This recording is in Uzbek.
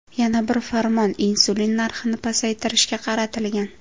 Yana bir farmon insulin narxini pasaytirishga qaratilgan.